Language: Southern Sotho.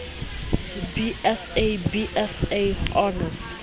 b sc b sc honours